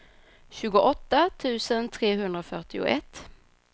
tjugoåtta tusen trehundrafyrtioett